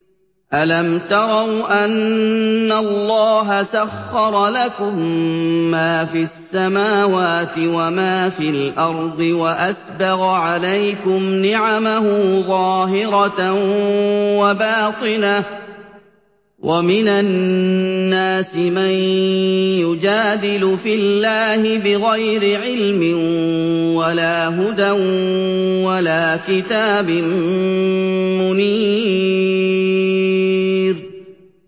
أَلَمْ تَرَوْا أَنَّ اللَّهَ سَخَّرَ لَكُم مَّا فِي السَّمَاوَاتِ وَمَا فِي الْأَرْضِ وَأَسْبَغَ عَلَيْكُمْ نِعَمَهُ ظَاهِرَةً وَبَاطِنَةً ۗ وَمِنَ النَّاسِ مَن يُجَادِلُ فِي اللَّهِ بِغَيْرِ عِلْمٍ وَلَا هُدًى وَلَا كِتَابٍ مُّنِيرٍ